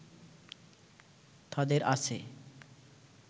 তাদের আছে